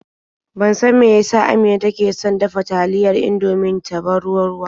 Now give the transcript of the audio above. Ban san me ya sa Amina take son dafa taliyar Indomin ta ba ta ruwa-ruwa.